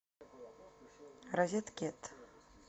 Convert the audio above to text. розеткед